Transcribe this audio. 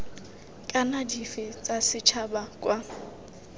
kana dife tsa setšhaba kwa